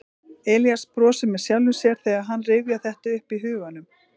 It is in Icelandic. Elías brosir með sjálfum sér þegar hann rifjar þetta upp í huganum.